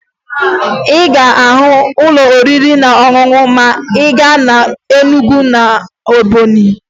Ị ga-ahụ ụlọ oriri na ọṅụṅụ ma ị gaa na Enugwu na Ebọnyị